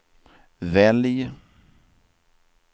välj